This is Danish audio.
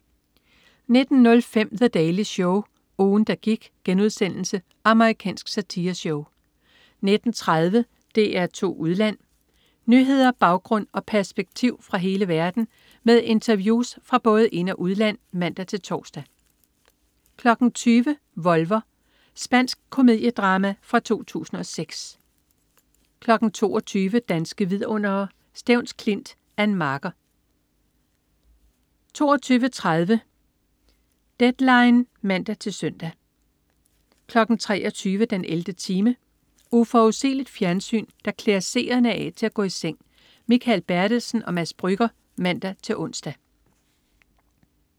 19.05 The Daily Show. Ugen, der gik.* Amerikansk satireshow 19.30 DR2 Udland. Nyheder, baggrund og perspektiv fra hele verden med interviews fra både ind- og udland (man-tors) 20.00 Volver. Spansk komediedrama fra 2006 22.00 Danske vidundere: Stevns Klint. Ann Marker 22.30 Deadline (man-søn) 23.00 den 11. time. Uforudsigeligt fjernsyn, der klæder seerne af til at gå i seng. Mikael Bertelsen/Mads Brügger (man-ons)